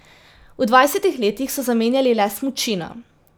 V dvajsetih letih so zamenjali le smučino.